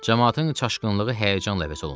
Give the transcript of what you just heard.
Camaatın çaşqınlığı həyəcanla əvəz olundu.